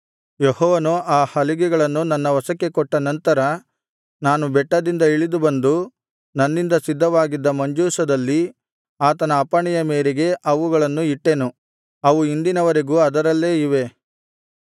ಯೆಹೋವನು ಆ ಹಲಿಗೆಗಳನ್ನು ನನ್ನ ವಶಕ್ಕೆ ಕೊಟ್ಟ ನಂತರ ನಾನು ಬೆಟ್ಟದಿಂದ ಇಳಿದು ಬಂದು ನನ್ನಿಂದ ಸಿದ್ಧವಾಗಿದ್ದ ಮಂಜೂಷದಲ್ಲಿ ಆತನ ಅಪ್ಪಣೆಯ ಮೇರೆಗೆ ಅವುಗಳನ್ನು ಇಟ್ಟೆನು ಅವು ಇಂದಿನವರೆಗೂ ಅದರಲ್ಲೇ ಇವೆ